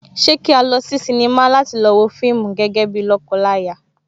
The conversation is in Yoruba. Ṣé kí a lọ sí sinimá láti lọ wo fíìmù gẹ́gẹ́ bíi lọ́kọ láya?